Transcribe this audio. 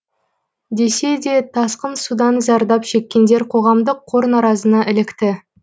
десе де тасқын судан зардап шеккендер қоғамдық қор наразына ілікті